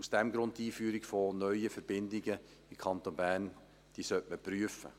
Aus diesem Grund sollte man die Einführung von neuen Verbindungen in den Kanton Bern prüfen.